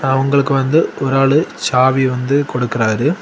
அவுங்களுக்கு வந்து ஒராலு சாவி வந்து கொடுக்குறாரு.